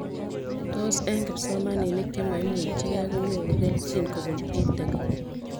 Tos eng'kipsomanik chemaimuchikei konyoru kelchin kopun EdTech